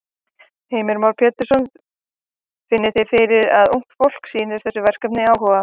Heimir Már Pétursson: Finnið þið fyrir að ungt fólk sýnir þessu verkefni áhuga?